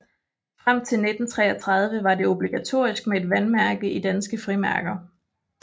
Frem til 1933 var det obligatorisk med et vandmærke i danske frimærker